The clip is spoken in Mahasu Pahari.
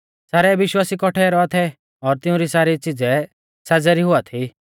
सारै विश्वासी कौठै रौआ थै और तिउंरी सारी च़िज़ै साज़ै री हुआ थी